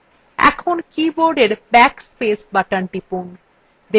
এখন কীবোর্ডের backspace button টিপুন